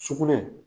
Sugunɛ